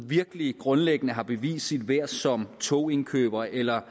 virkelig grundlæggende har bevist sit værd som togindkøber eller